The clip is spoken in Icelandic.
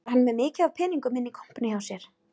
Var hann með mikið af peningum inni í kompunni hjá sér